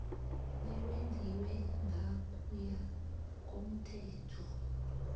bewenziwe ngokuya komthetho